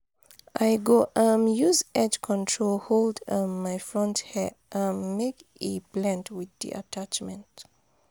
i go um use edge control hold um my front hair um make e blend wit di attachment.